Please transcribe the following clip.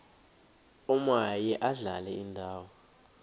omaye adlale indawo